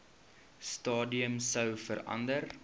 stadium sou verander